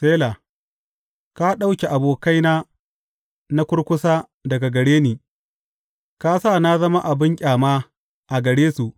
Sela Ka ɗauke abokaina na kurkusa daga gare ni ka sa na zama abin ƙyama a gare su.